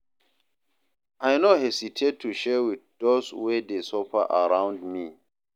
I no hesitate to share with those wey dey suffer around me.